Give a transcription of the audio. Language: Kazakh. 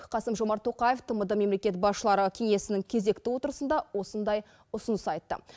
қасым жомарт тоқаев тмд мемлекет басшылары кеңесінің кезекті отырысында осындай ұсыныс айтты